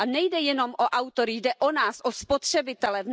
A nejde jenom o autory, jde o nás, o spotřebitele.